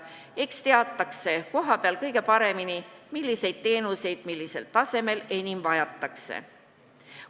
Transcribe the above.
Eks teatakse kohapeal kõige paremini, milliseid teenuseid millisel tasemel enim vajatakse.